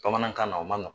Bamanankan na o man nɔgɔn